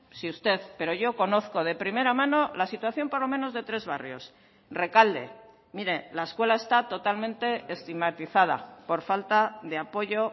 si usted pero yo conozco de primera mano la situación por lo menos de tres barrios rekalde mire la escuela está totalmente estigmatizada por falta de apoyo